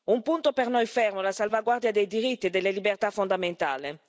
Un punto per noi fermo è la salvaguardia dei diritti e delle libertà fondamentali.